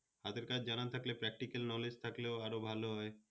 হাতের কাজ জানা থাকলে particle knowledge থাকলে আরো ভালো হয়